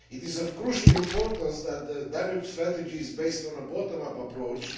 It is of crucial importance that the Danube strategy be based on a bottom up approach.